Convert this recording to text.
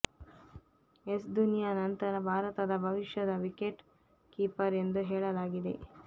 S ಧೋನಿಯ ನಂತರ ಭಾರತದ ಭವಿಷ್ಯದ ವಿಕೆಟ್ ಕೀಪರ್ ಎಂದು ಹೇಳಲಾಗಿದೆ